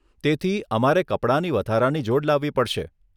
તેથી, અમારે કપડાંની વધારાની જોડ લાવવી પડશે.